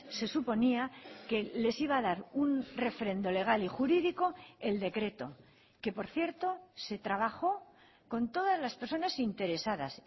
se suponía que les iba a dar un refrendo legal y jurídico el decreto que por cierto se trabajó con todas las personas interesadas